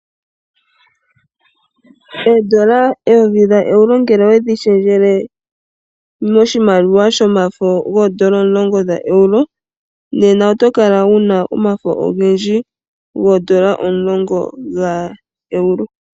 Oondola ooEuro ngele owedhi she djele moshimaliwa shomafo goondola omulongo dha euro, nena oto kala wu na omafo ogendji goondola omulongo ga euro.